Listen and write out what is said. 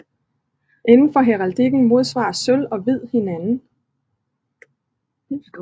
Inden for heraldikken modsvarer sølv og hvid hinanden